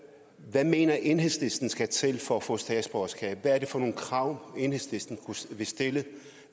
hvad mener enhedslisten der skal til for at få statsborgerskab hvad er det for nogle krav enhedslisten ville stille